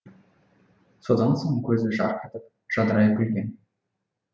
содан соң көзі жарқ етіп жадырай күлген